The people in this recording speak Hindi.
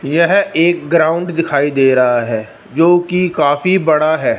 यह एक ग्राउंड दिखाई दे रहा है जो कि काफी बड़ा है।